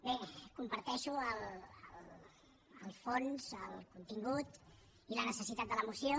bé comparteixo el fons el contingut i la necessitat de la moció